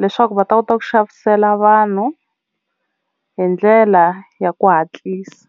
leswaku va ta kota ku xavisela vanhu hi ndlela ya ku hatlisa.